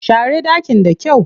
Share ɗakin da kyau.